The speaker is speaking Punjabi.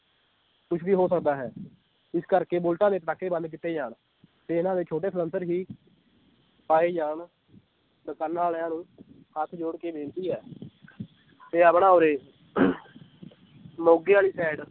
ਕੁਛ ਵੀ ਹੋ ਸਕਦਾ ਹੈ ਇਸ ਕਰਕੇ ਬੁਲਟਾਂ ਦੇ ਪਟਾਕੇ ਬੰਦ ਕੀਤੇ ਜਾਨ ਤੇ ਇਹਨਾਂ ਦੇ ਛੋਟੇ ਸਲੈਂਸਰ ਵੀ ਪਾਏ ਜਾਨ ਦੁਕਾਨਾਂ ਵਾਲਿਆਂ ਨੂੰ ਹੱਥ ਜੋੜ ਕੇ ਬੇਨਤੀ ਹੈ ਤੇ ਆਪਣੇ ਉਰ੍ਹੇ ਮੋਗੇ ਵਾਲੀ side